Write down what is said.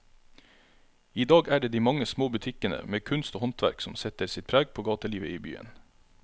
I dag er det de mange små butikkene med kunst og håndverk som setter sitt preg på gatelivet i byen.